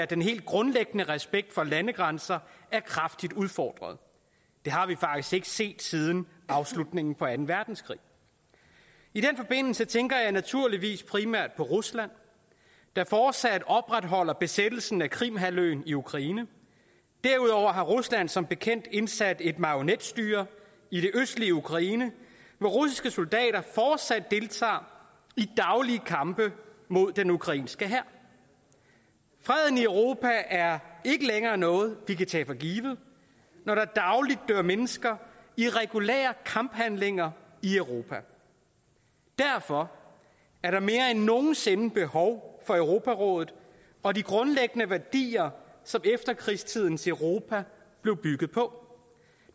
den helt grundlæggende respekt for landegrænser er kraftigt udfordret det har vi faktisk ikke set siden afslutningen på anden verdenskrig i den forbindelse tænker jeg naturligvis primært på rusland der fortsat opretholder besættelsen af krimhalvøen i ukraine derudover har rusland som bekendt indsat et marionetstyre i det østlige ukraine hvor russiske soldater fortsat deltager i daglige kampe mod den ukrainske hær freden i europa er ikke længere noget vi kan tage for givet når der dagligt dør mennesker i regulære kamphandlinger i europa derfor er der mere end nogen sinde behov for europarådet og de grundlæggende værdier som efterkrigstidens europa blev bygget på